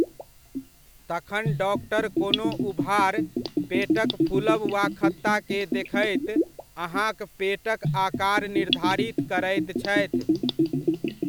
तखन डॉक्टर कोनो उभार, पेटक फूलब वा खत्ता के देखैत अहाँक पेटक आकार निर्धारित करैत छथि।